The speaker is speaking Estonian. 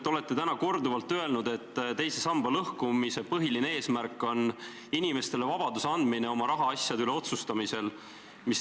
Te olete täna korduvalt öelnud, et teise samba lõhkumise põhiline eesmärk on anda inimestele vabadus oma rahaasjade üle otsustamisel.